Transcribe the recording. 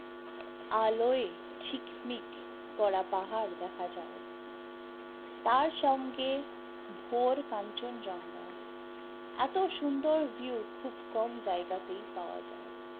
আলোই ঝিকমিক করা পাহাড় দেখা যায়, তার সঙ্গে ভোর কাঞ্চন জঙ্গা এতো সুন্দর view খুব কম জায়গাতেই পাওয়া যায়